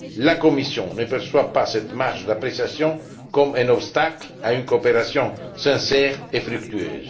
La Commission ne perçoit pas cette marge d'appréciation comme un obstacle à une coopération sincère et fructueuse.